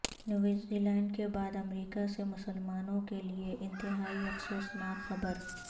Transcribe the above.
news Zealand کے بعد امریکہ سے مسلما نو ں کیلئے انتہائی افسو سناک خبر